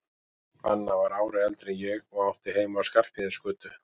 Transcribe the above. Anna var ári eldri en ég og átti heima á Skarphéðinsgötu.